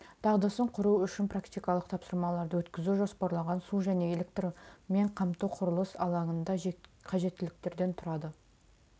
дағдысын құру үшін практикалық тапсырмаларды өткізу жоспарланған су және электрмен қамту құрылыс алаңында қажеттіліктен тұрады